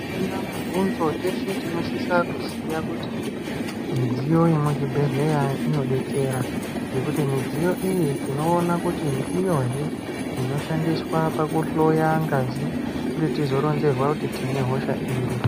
Azvina mubvunzo teshe tinosisa kuziya kuti midziyo yemuzvibhendleya inodetsera. Ngekuti midziyo iyi tinoona kuti ndiyohe inoshandiswa pakuhloya ngazi kuti tizoronzerwa kuti tine hosha iri.